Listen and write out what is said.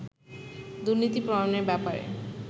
দুর্নীতির প্রমাণের ব্যাপারে